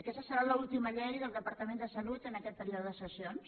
aquesta serà l’última llei del departament de salut en aquest període de sessions